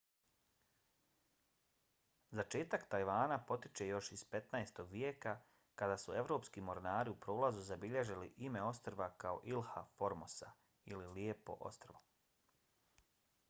začetak tajvana potiče još iz 15. vijeka kad su evropski mornari u prolazu zabilježili ime ostrva kao ilha formosa ili lijepo ostrvo